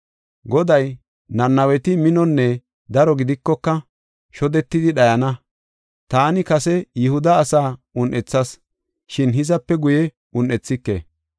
Goday, “Nanaweti minonne daro gidikoka, shodetidi dhayana. Taani kase Yihuda asaa un7ethas, shin hizape guye un7ethike.